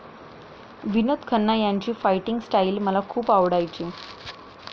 विनोद खन्ना यांची fighting style मला खूप आवडायची.